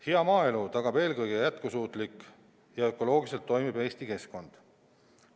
Hea maaelu tagab eelkõige jätkusuutlik ja ökoloogiliselt toimiv Eesti keskkond.